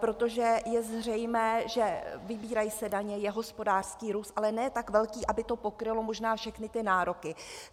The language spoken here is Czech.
Protože je zřejmé, že vybírají se daně, je hospodářský růst, ale ne tak velký, aby to pokrylo možná všechny ty nároky.